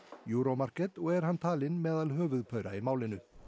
Euro Market og er hann talinn meðal höfuðpaura í málinu